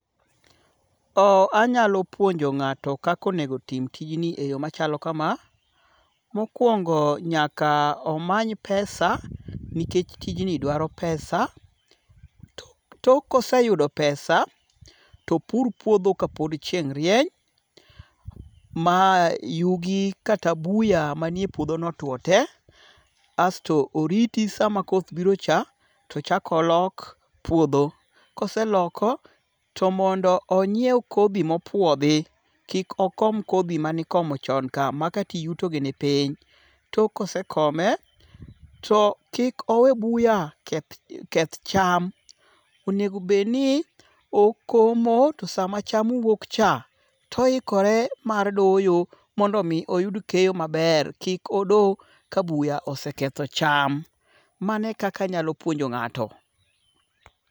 Anyalo puonjo ng'ato kaka onengo tim tijni e yo machalo kama. Mokwongo nyaka omany pesa nike tijni dwaro pesa. Tok koseyudo pesa to opur puodho ka pod chieng' rieny ma yugi kata buya manie puodhono otwo te. Asto oriti sama koth biro cha to ochak olok puodho. Koseloko to mondo onyiew kodhi mopuodhi. Kik okom kodhi manikomo chon cha. Maka ti yuto gi nipiny. Tok kosekome, to kik owe buya keth cham. Onego bed ni okomo to sama cham wuok cha to oikore mar doyo mondo mi oyud keyo maber. Kik odo ka buya oseketho cham. Mano e kaka anyalo puonjo ng'ato.